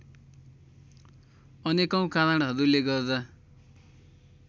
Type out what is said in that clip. अनेकौं कारणहरूले गर्दा